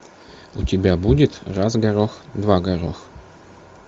у тебя будет раз горох два горох